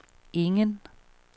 ingen